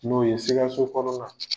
N'o ye sikaso kɔrɔ la